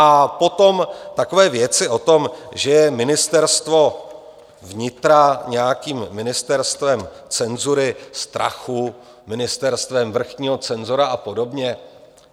A potom takové věci o tom, že je Ministerstvo vnitra nějakým ministerstvem cenzury, strachu, ministerstvem vrchního cenzora a podobně.